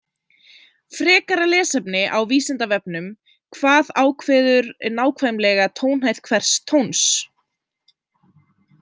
Frekara lesefni á Vísindavefnum Hvað ákveður nákvæmlega tónhæð hvers tóns?